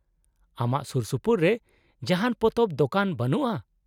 -ᱟᱢᱟᱜ ᱥᱩᱨᱥᱩᱯᱩᱨ ᱨᱮ ᱡᱟᱦᱟᱱ ᱯᱚᱛᱚᱵ ᱫᱚᱠᱟᱱ ᱵᱟᱹᱱᱩᱜᱼᱟ ?